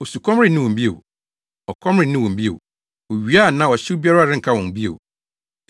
Osukɔm renne wɔn bio; ɔkɔm renne wɔn bio. Owia anaa ɔhyew biara renka wɔn bio.